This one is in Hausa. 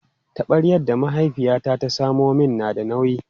Taɓaryar da mahaifiyata ta samo min na da nauyi.